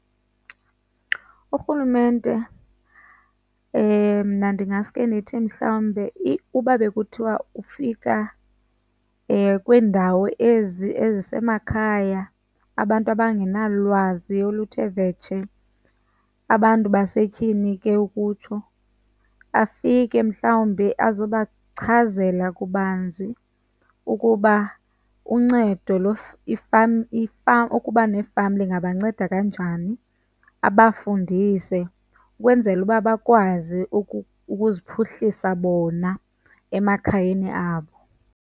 Urhulumente mna ndingasuke ndithi mhlawumbe uba bekuthiwa ufika kwiindawo ezi ezisemakhaya abantu abangenalwazi oluthe vetshe, abantu basetyhini ke ukutsho, afike mhlawumbi azobachazela kabanzi ukuba uncedo , ukuba nefama ingabanceda kanjani. Abafundise ukwenzela uba bakwazi ukuziphuhlisa bona emakhayeni abo.